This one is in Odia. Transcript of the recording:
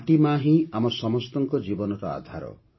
ମାଟି ମାଆ ହିଁ ଆମ ସମସ୍ତଙ୍କ ଜୀବନର ଆଧାର